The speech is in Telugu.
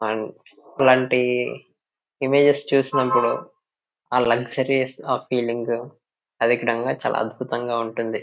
అండ్ అలాంటి ఇమేజెస్ చూసినప్పుడు ఆ లగ్జరీ ఆ ఫీలింగ్ చాలా అద్భుతంగా ఉంటుంది.